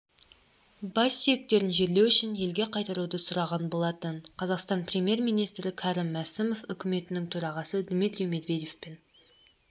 бассүйектерін жерлеу үшін елге қайтаруды сұраған болатын қазақстан премьер-министрі кәрім мәсімов үкіметінің төрағасы дмитрий медведевпен